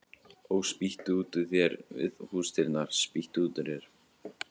Ó, spýttu út úr þér við húsdyrnar, spýttu út úr þér